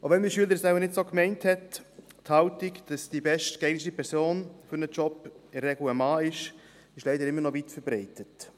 Auch wenn mein Schüler es wohl nicht so gemeint hat: Die Haltung, dass die bestgeeignete Person für einen Job in der Regel ein Mann ist, ist leider immer noch weitverbreitet.